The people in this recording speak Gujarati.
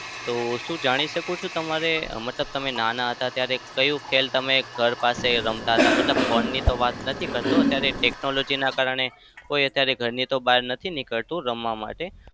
તો શું જાણી શકું છું તમારે મતલબ તમે નાના હતા ત્યારે કયું ખેલ તમે ઘર પાસે રમતા હતા? મતલબ phone ની તો વાત નથી કરતો. અત્યારે technology ના કારણે કોઈ અત્યારે ઘરની તો બહાર નથી નીકળતું રમવા માટે.